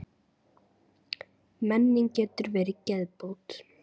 Menning getur verið geðbót.